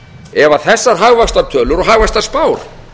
ef þessar hagvaxtartölur og hagvaxtarspár